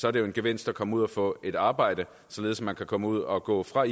er det en gevinst at komme ud og få et arbejde således at man kan komme ud og gå fra